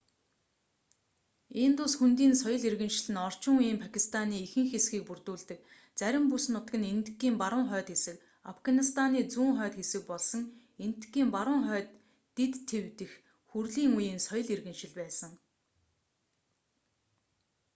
индус хөндийн соёл иргэншил нь орчин үеийн пакистаны ихэнх хэсгийг бүрдүүлдэг зарим бүс нутаг нь энэтхэгийн баруун хойд хэсэг афганистаны зүүн хойд хэсэг болсон энэтхэгийн баруун хойд дэд тив дэх хүрлийн үеийн соёл иргэншил байсан